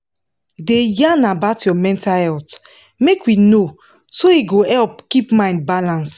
da yan about your mental healt make we know so e go help keep mind balance